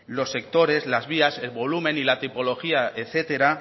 los sectores las vías el volumen y la tipología etcétera